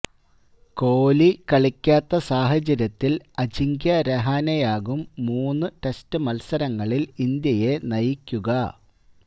കോലി കളിക്കാത്ത സാഹചര്യത്തിൽ അജിങ്ക്യ രഹാനെയാകും മൂന്ന് ടെസ്റ്റ് മത്സരങ്ങളിൽ ഇന്ത്യയെ നയിക്കുക